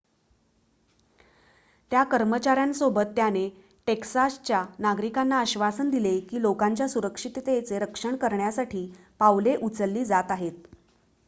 त्या कर्मचाऱ्यांसोबत त्याने टेक्सासच्या नागरिकांना आश्वासन दिले की लोकांच्या सुरक्षिततेचे रक्षण करण्यासाठी पावले उचलली जात आहेत